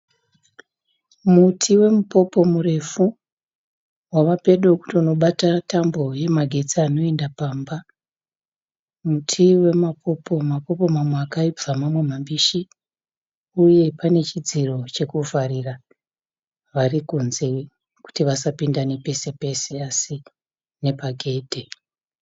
Muti we mupopo murefu wavapedo kutonobata tambo yemagetsi inoenda pamba. Muti wemapopo mamwe akaibva mamwe mambishi uye pane chidziro chekuvharira varikunze kuti vasapinda nepese-pese asi nepagedhe.